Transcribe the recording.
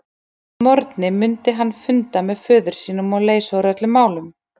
Að morgni mundi hann funda með föður sínum og leysa úr öllum málum.